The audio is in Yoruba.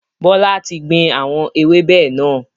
Bọlá tí gbìn àwọn ewébẹ̀ náà